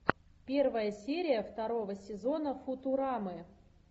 первая серия второго сезона футурамы